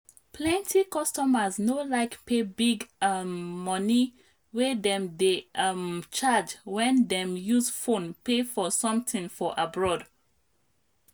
plenty customers no like pay big um money wey dem dey um charge when dem use phone pay for something for abroad.